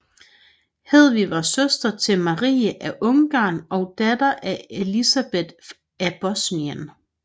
Hedvig var søster til Marie af Ungarn og datter af Elisabeth af Bosnien